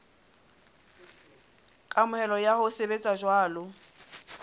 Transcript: kamohelo ya ho sebetsa jwalo